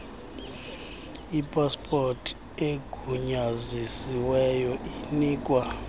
ipaspoti egunyazisiweyo inikwa